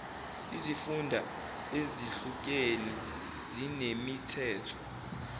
izifunda ezehlukeni zinemithetho